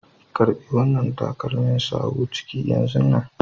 Karba wanna takalmin sawu ciki yan zunnan.